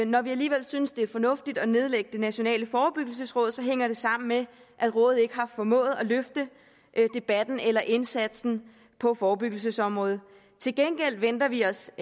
når vi alligevel synes det er fornuftigt at nedlægge det nationale forebyggelsesråd hænger det sammen med at rådet ikke har formået at løfte debatten eller indsatsen på forebyggelsesområdet til gengæld venter vi os